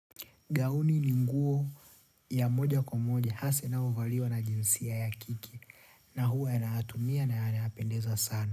Gauni ni nguo ya moja kwa moja hasaa inayovaliwa na jinsia ya kike na huwa yanaatumia na yana apendeza sana.